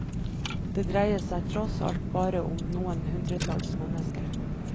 Det dreier seg tross alt bare om noen hundretalls mennesker.